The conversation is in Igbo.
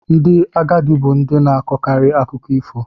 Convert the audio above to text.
Ndị agadi bu ndi na-akọkarị akụkọ ifo.